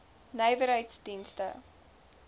nywerheiddienste